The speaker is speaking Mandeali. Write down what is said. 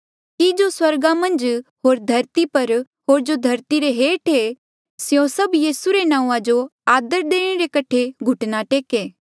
कि जो स्वर्गा मन्झ होर धरती पर होर जो धरती रे हेठ ऐें स्यों सभ यीसू रे नांऊँआं जो आदर देणे रे कठे घुटना टेके